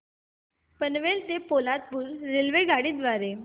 पनवेल ते पोलादपूर रेल्वेगाडी द्वारे